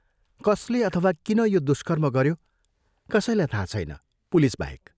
कसले अथवा किन यो दुष्कर्म गयो कसैलाई थाह छैन, पुलिसबाहेक।